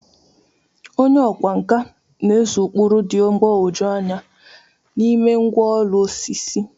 Onye ọkwá nkà na-ese ụkpụrụ dị mgbagwoju anya n'ime ngwá ụlọ osisi.